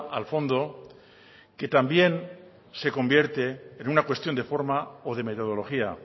al fondo que también se convierte en una cuestión de forma o de metodología